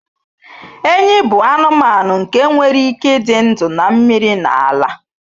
Enyí bụ anụmanụ nke nwere ike ịdị ndụ na mmiri na ala.